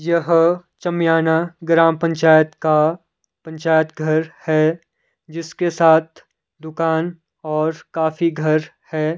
यह चमियाना ग्राम पंचायत का पंचायत घर है जिसके साथ दुकान और काफी घर है।